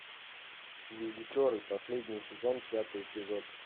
визитеры последний сезон пятый эпизод